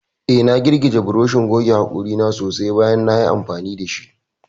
Eh, na girgije burushin goge hakori na sosai bayan nayi amfani dashi.